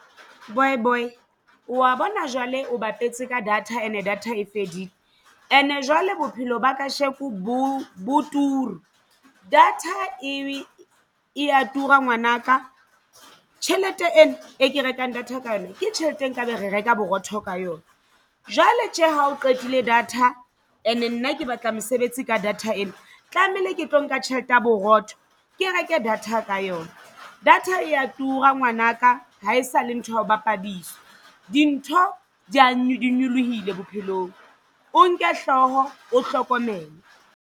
Boy boy wa bona jwale o bapetse ka data and-e data e fedile and-e jwale bophelo ba kasheko bo bo turu data e e a tura ngwanaka. Tjhelete ena e ke rekang data ka yona ke tjhelete e nkabe re reka borotho ka yona. Jwale tje ha o qetile data and-e nna ke batla mosebetsi ka data ena tlamehile ke tlo nka tjhelete ya borotho ke reke data ka yona data e ya tura ngwanaka ha esale ntho ya ho bapadiswa. Dintho di ya nyolohile bophelong o nke hlooho o hlokomele.